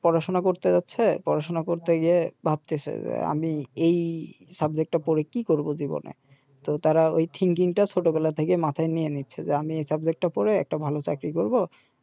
পড়াশোনা করতে যাচ্ছে পড়াশোনা করতে গিয়ে ভাবতেসে যে আমি এই টা পড়ে কি করব জীবনে তো তারা ঐ টা ছোটবেলা থেকেই মাথায় নিয়ে নিচ্ছে যে আমি এই টা পড়ে একটা ভাল চাকরি করব